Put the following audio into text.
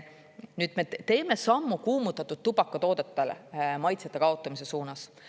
Nüüd me teeme sammu kuumutatud tubakatoodetele maitsete kaotamise suunas.